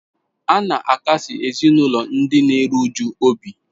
A na-akasi ezinụlọ ndị na-eru uju obi.